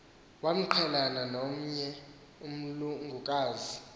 waqhelana nomnye umlungukazi